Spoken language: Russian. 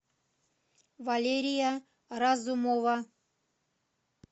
валерия разумова